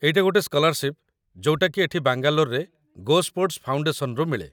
ଏଇଟା ଗୋଟେ ସ୍କଲାର୍ଶିପ୍ ଯୋଉଟାକି ଏଠି ବାଙ୍ଗାଲୋରରେ ଗୋସ୍ପୋର୍ଟ୍‌ସ୍‌ ଫାଉଣ୍ଡେସନ୍‌ରୁ ମିଳେ ।